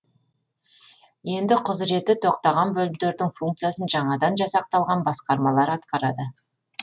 енді құзіреті тоқтаған бөлімдердің функциясын жаңадан жасақталған басқармалар атқарады